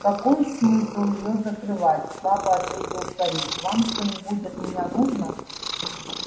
какой смысл её закрывать слабо ответил старик вам что-нибудь от меня нужно